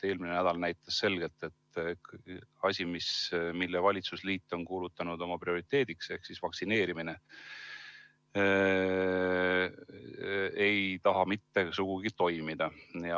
Eelmine nädal näitas selgelt, et asi, mille valitsusliit on kuulutanud oma prioriteediks, ehk vaktsineerimine, ei taha mitte sugugi toimida.